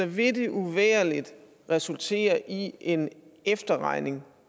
vil det uvægerligt resultere i en efterregning